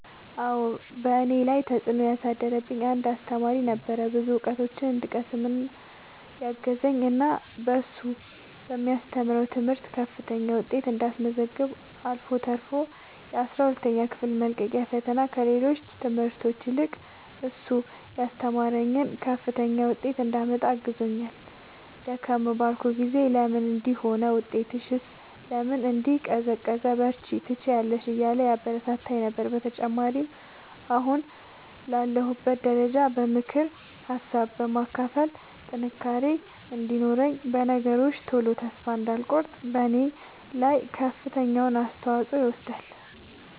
አዎ በእኔ ላይ ተፅእኖ ያሳደረ አንድ አሰተማሪ ነበረ። ብዙ እውቀቶችን እንድቀስም ያገዘኝ እና እሱ በሚያስተምረው ትምህርት ከፍተኛ ውጤት እንዳስመዘግብ አልፎ ተርፎ የአስራ ሁለተኛ ክፍል መልቀቂያ ፈተና ከሌሎች ትምህርቶች ይልቅ እሱ ያስተማረኝን ከፍተኛ ውጤት እንዳመጣ አግዞኛል። ደከም ባልኩ ጊዜ ለምን እንዲህ ሆነ ውጤትሽስ ለምን እንዲህ ቀዘቀዘ በርቺ ትችያለሽ እያለ ያበረታታኝ ነበረ። በተጨማሪም አሁን ላለሁበት ደረጃ በምክር ሀሳብ በማካፈል ጥንካሬ እንዲኖረኝ በነገሮች ቶሎ ተስፋ እንዳልቆርጥ በኔ ላይ ከፍተኛውን አስተዋፅኦ ይወስዳል።